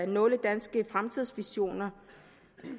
nogle danske fremtidsvisioner